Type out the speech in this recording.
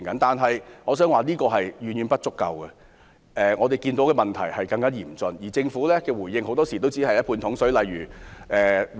但是，我想指出，這是遠遠不足夠的，我們看到的問題更為嚴峻，而政府的回應很多時只是"半桶水"。